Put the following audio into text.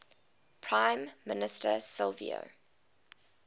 prime minister silvio